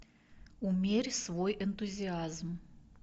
умерь свой энтузиазм